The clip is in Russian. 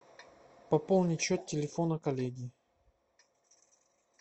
пополнить счет телефона коллеги